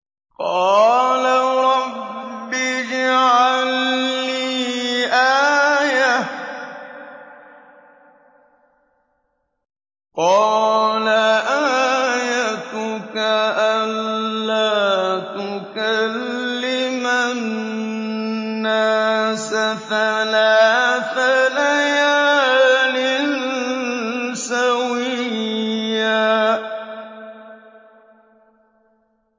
قَالَ رَبِّ اجْعَل لِّي آيَةً ۚ قَالَ آيَتُكَ أَلَّا تُكَلِّمَ النَّاسَ ثَلَاثَ لَيَالٍ سَوِيًّا